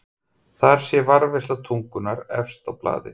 Þar sé varðveisla tungunnar efst á blaði.